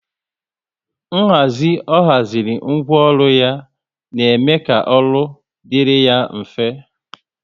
Nhazi ọ haziri ńgwọ ọrụ ya na eme ka ọrụ dịrị ya mfe